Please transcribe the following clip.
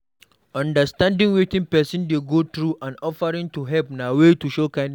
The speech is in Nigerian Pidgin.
Understanding wetin persin de go through and offering to help na way to show kindness